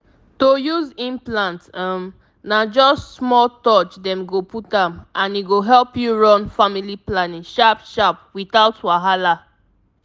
to use implant — um — na just small touch dem go put am and e go help you run family planning sharp-sharp without wahala.